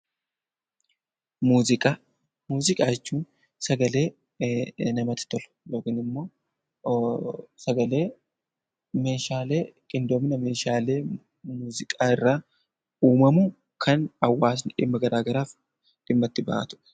Muuziqaa Muuziqaa jechuun sagalee namatti tolu yookaan immoo sagalee qindoomina Meeshaalee muuziqaa irraa uumamu kan hawaasni dhimma garaagaraaf dhimma itti bahatudha.